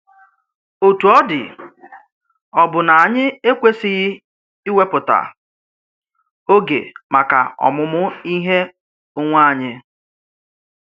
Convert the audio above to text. Otú ọ dị, ọ̀ bụ́ na ányị̀ ekwesịghị ìwepụ̀tà ógè màkà ọmụmụ Íhé onwé anyị